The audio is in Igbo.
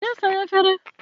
Jee saa efere!